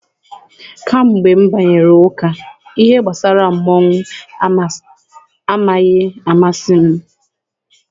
Kamgbe m banyere ụka, ihe gbasara mmọnwụ amaghị amasị m.